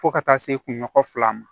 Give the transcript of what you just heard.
Fo ka taa se kunɲɔgɔn fila ma